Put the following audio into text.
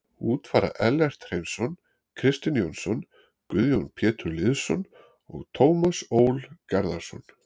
Út fara Ellert Hreinsson, Kristinn Jónsson, Guðjón Pétur Lýðsson og Tómas Ól Garðarsson.